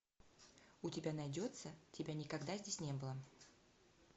у тебя найдется тебя никогда здесь не было